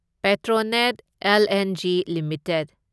Petronet LNG limited